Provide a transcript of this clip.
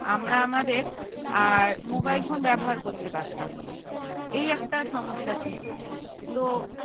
আমরা আমাদের mobile phone ব্যবহার করতে পারতাম না এই একটা সমস্যা ছিল তো